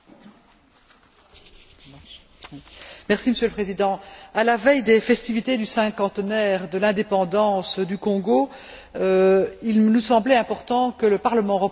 Monsieur le Président, à la veille des festivités du cinquantenaire de l'indépendance du Congo, il nous semblait important que le Parlement européen se prononce sur le meurtre de M.